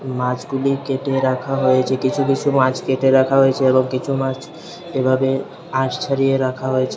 মাছগুলি কেটে রাখা হয়েছে কিছু কিছু মাছ কেটে রাখা হয়েছে এবং কিছু মাছ এভাবে আঁশ ছাড়িয়ে রাখা হয়েছে।